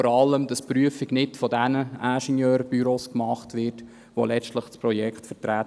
Vor allem soll diese Prüfung nicht von denselben Ingenieurbüros gemacht werden, die letztlich dieses Projekt vertreten.